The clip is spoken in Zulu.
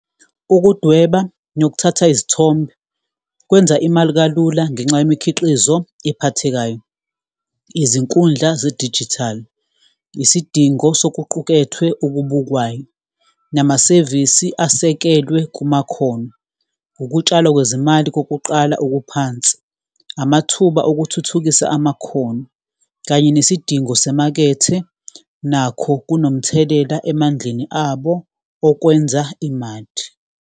Ukudweba nokuthatha izithombe kwenza imali kalula ngenxa yemikhiqizo ephathekayo. Izinkundla zedijithali, isidingo sokuqukethwe okubukwayo, namasevisi asekelwe kumakhono, ukutshalwa kwezimali kokuqala okuphansi, amathuba okuthuthukisa amakhono, kanye nesidingo semakethe, nakho kunomthelela emandleni abo okwenza imali.